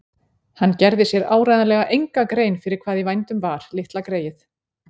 Hann gerði sér áreiðanlega enga grein fyrir hvað í vændum var, litla greyið.